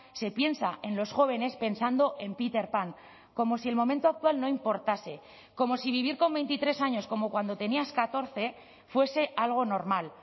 se piensa en los jóvenes pensando en peter pan como si el momento actual no importase como si vivir con veintitrés años como cuando tenías catorce fuese algo normal